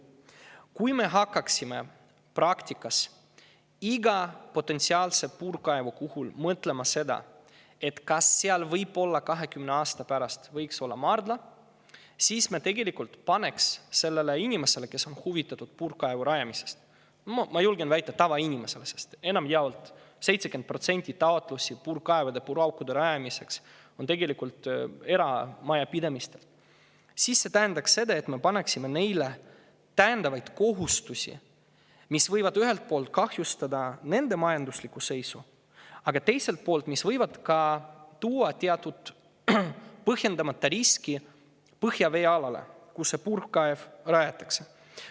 Kui me hakkaksime praktikas iga potentsiaalse puurkaevu puhul mõtlema, kas seal näiteks 20 aasta pärast võiks olla maardla, siis me tegelikult paneksime sellele inimesele, kes on huvitatud puurkaevu rajamisest – ma julgen väita, tavainimesele, sest enamjaolt, 70% taotlusi puurkaevude ja puuraukude rajamiseks tuleb eramajapidamistelt –, täiendavaid kohustusi, mis võivad ühelt poolt kahjustada tema majanduslikku seisu, aga teiselt poolt võib see tuua teatud põhjendamata riski põhjaveealale, kuhu see puurkaev rajatakse.